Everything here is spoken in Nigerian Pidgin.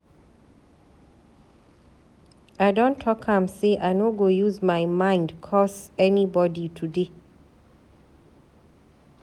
I don talk am sey I no go use my mind curse anybodi today.